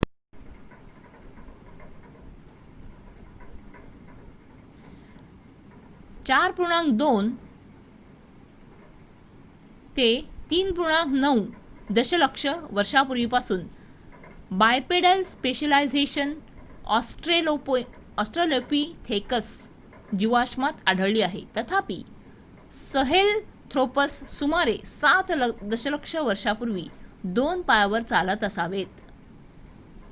4.2-3.9 दशलक्ष वर्षांपूर्वीपासून bipedal specialisation Australopithecus जीवाश्मात आढळली आहे तथापि सहेलंथ्रोपस सुमारे 7 दशलक्ष वर्षांपूर्वी 2 पायावर चालत असावेत